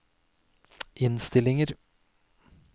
innstillinger